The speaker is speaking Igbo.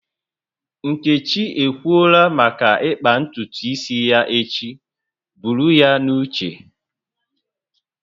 Nkechi ekwuola maka ịkpa ntutu isi ya echi, buru ya n'uche